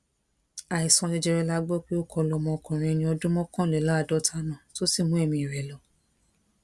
àìsàn jẹjẹrẹ la gbọ pé ó kọ lu ọmọkùnrin ẹni ọdún mọkànléláàádọta náà tó sì mú ẹmí rẹ lọ